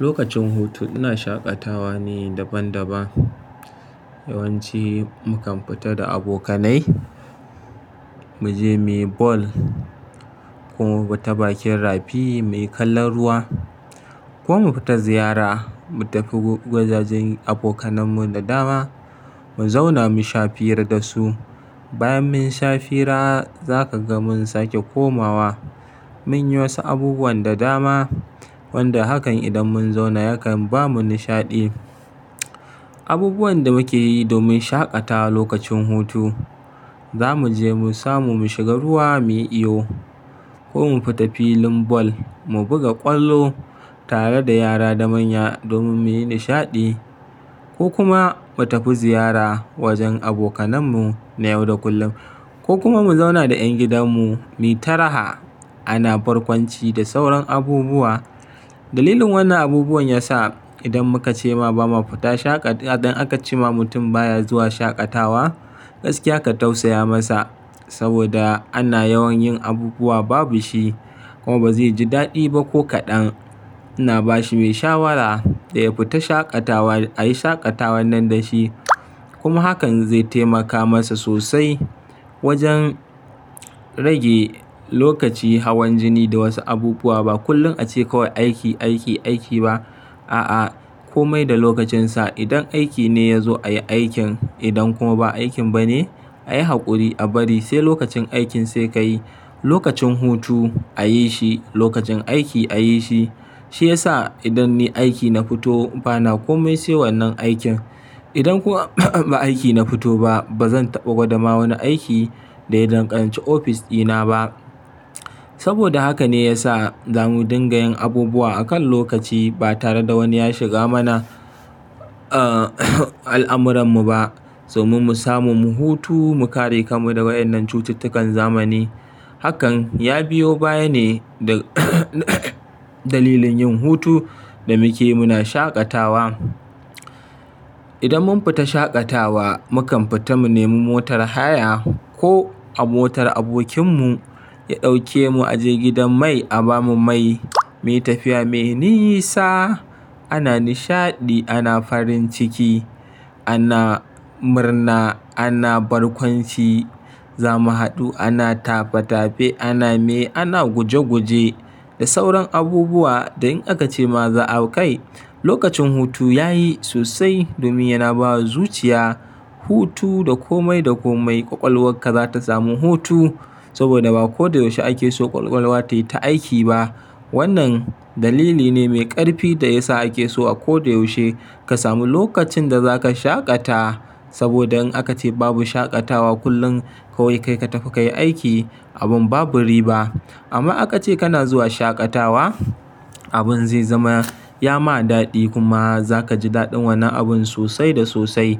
Lokacin hutu ina shaƙatawa ne daban-daban. Yawanci mu kan fita da abokanai, mu je muyi ball ko mu ta bakin rafi muyi kalan ruwa ko mu fita ziyara. Mu tafi gwajajen abokanmu da dama, mu zauna mu sha fira da su. Bayan mun sha fira, za ka ga mun sake komawa muyi wasu abubuwan da dama wanda hakan idan mun zauna ya kan bamu nishaɗi. Abubuwan da muke yi domin shaƙatawa lokacin hutu, za mu je mu samu, mu shiga ruwa muyi iyo ko mu fita filin ball, mu buga ƙwallo tare da yara da manya domin muyi nishaɗi ko kuma mu tafi ziyara wajen abokanmu na yau da kullum ko kuma mu zauna da ƴan gidanmu muyi ta raha ana barkwanci da sauran abubuwa. Dalilin wannan abubuwan ya sa idan muka ce ma ba ma fita shaƙatawa, idan aka ce ma mutum baya zuwa shaƙatawa, gaskiya ka tausaya masa saboda ana yawan yin abubuwa babu shi kuma ba zai ji daɗi ba ko kaɗan. Ina ba shi mai shawara ya fita shaƙatawa, a yi shaƙatawar nan da shi kuma hakan zai taimaka masa sosai wajen rage lokaci hawan jini da wasu abubuwa. Ba kullum ace kawai aiki, aiki, aiki ba. A'a, komai da lokacinsa. Idan aiki ne ya zo, a yi aikin. Idan kuma ba aikin ba ne, a yi haƙuri a bari sai lokacin aikin sai ka yi. Lokacin hutu, a yi shi. Lokacin aiki, a yi shi. Shi ya sa idan ni aiki na fito, bana komai se wannan aikin. Idan kuma ba aiki na fito ba, ba zan taɓa gwada ma wani aiki da ya danganci ofis dina ba. Saboda haka ne ya sa za mu dinga yin abubuwa akan lokaci ba tare da wani ya shiga mana, ah, al'amurarmu ba domin mu samu mu hutu, mu kare kanmu da waƴannan cututtukan zamani. Hakan ya biyo baya ne da dalilin yin hutu da muke muna shaƙatawa. Idan mun fita shaƙatawa, mu kan fita mu nemi motar haya ko a motar abokinmu ya ɗauke mu a je gidan mai a bamu mai, muyi tafiya mai nisa. Ana nishaɗi, ana farin ciki, ana murna, ana barkwanci, zamu haɗu, ana tafe-tafe, ana me, ana guje-guje da sauran abubuwa. Da in aka ce ma za a kai lokacin hutu, yayi sosai domin yana bawa zuciya. Hutu da komai da komai, ƙwaƙwalwarka za ta samu hutu saboda ba ko da yaushe ake so ƙwaƙwalwa tayi ta aiki ba. Wannan dalili ne mai ƙarfi da ya sa ake so a ko da yaushe ka sami lokacin da za ka shaƙata saboda in aka ce babu shaƙatawa, kullum kawai kai ka tafi ka yi aiki abin babu riba. Amma aka ce kana zuwa shaƙatawa, abin zai zama ya ma daɗi kuma za ka ji daɗin wannan abun sosai da sosai.